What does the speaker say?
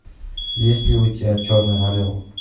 есть ли у тебя черный орел